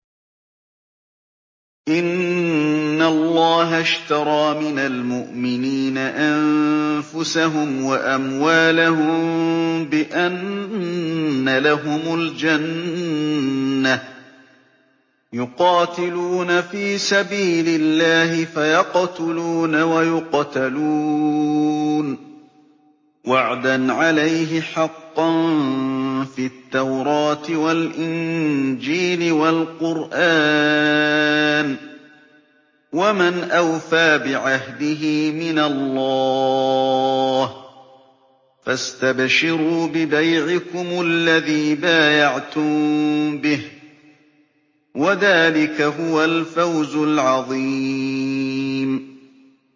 ۞ إِنَّ اللَّهَ اشْتَرَىٰ مِنَ الْمُؤْمِنِينَ أَنفُسَهُمْ وَأَمْوَالَهُم بِأَنَّ لَهُمُ الْجَنَّةَ ۚ يُقَاتِلُونَ فِي سَبِيلِ اللَّهِ فَيَقْتُلُونَ وَيُقْتَلُونَ ۖ وَعْدًا عَلَيْهِ حَقًّا فِي التَّوْرَاةِ وَالْإِنجِيلِ وَالْقُرْآنِ ۚ وَمَنْ أَوْفَىٰ بِعَهْدِهِ مِنَ اللَّهِ ۚ فَاسْتَبْشِرُوا بِبَيْعِكُمُ الَّذِي بَايَعْتُم بِهِ ۚ وَذَٰلِكَ هُوَ الْفَوْزُ الْعَظِيمُ